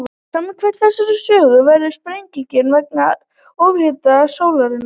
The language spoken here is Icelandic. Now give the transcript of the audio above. Samkvæmt þessari sögu verður sprengingin vegna ofhitnunar sólarinnar.